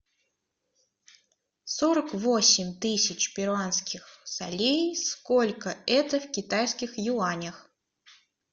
сорок восемь тысяч перуанских солей сколько это в китайских юанях